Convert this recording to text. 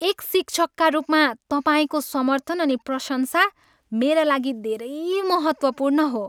एक शिक्षकका रूपमा तपाईँको समर्थन अनि प्रशंसा मेरा लागि धेरै महत्त्वपूर्ण हो।